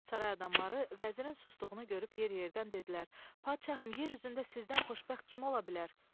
Saray adamları vəzirin sustuğunu görüb yer-yerdən dedilər: Padşahım, yer üzündə sizdən xoşbəxt kim ola?